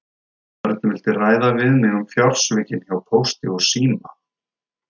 Örn vildi ræða við mig um fjársvikin hjá Pósti og síma.